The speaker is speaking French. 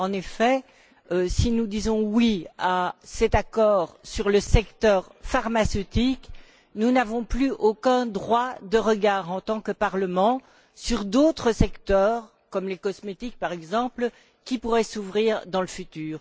En effet, si nous disons oui à cet accord sur le secteur pharmaceutique, nous n'avons plus aucun droit de regard, en tant que Parlement, sur d'autres secteurs comme les cosmétiques, par exemple, qui pourraient s'ouvrir dans le futur.